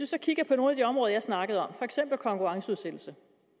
så kigger på nogle af de områder jeg snakkede om for eksempel konkurrenceudsættelse